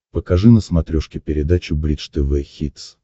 покажи на смотрешке передачу бридж тв хитс